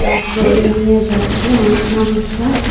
আর trolley নিয়ে যাচ্ছে অনেক মানুষরা।